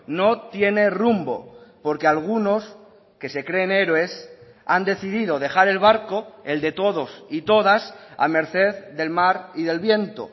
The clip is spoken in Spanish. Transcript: no tiene rumbo porque algunos que se creen héroes han decidido dejar el barco el de todos y todas a merced del mar y del viento